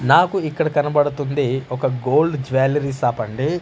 నాకు ఇక్కడ కనబడుతుంది ఒక గోల్డ్ జ్యువలరీ షాప్ అండి.